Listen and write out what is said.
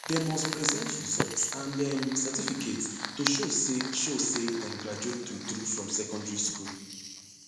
dem must present results and um certificates to show say show say dem graduate truetrue from secondary school